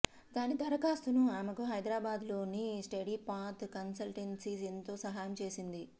దాని దరఖాస్తుకు ఆమెకు హైదరాబాద్లోని స్టడీపాత్ కన్సల్టెన్సీ ఎంతో సహాయం చేసింది